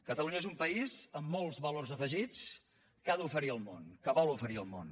catalunya és un país amb molts valors afegits que ha d’oferir al món que vol oferir al món